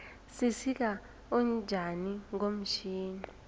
sisika utjani ngomtjhini